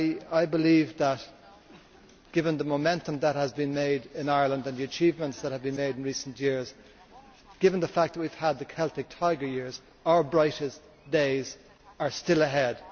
I believe that, given the momentum that has been made in Ireland and the achievements that have been made in recent years, and given the fact that we have had the Celtic tiger years, our brightest days are still ahead.